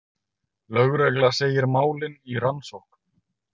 Lögregla segir málin í rannsókn